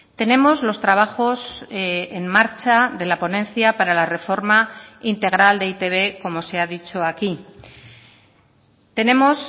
tenemos los trabajos en marcha de la ponencia para la reforma integral de e i te be como se ha dicho aquí tenemos